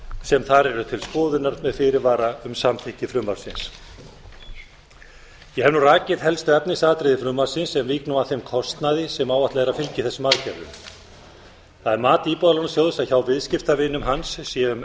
sem þar eru til skoðunar með fyrirvara um samþykki frumvarpsins ég ef nú rakið helstu efnisatriði frumvarpsins en vík nú að þeim kostnaði sem áætlað er að fylgi þessum aðgerðum það er mat íbúðalánasjóðs að hjá viðskiptavinum hans séu um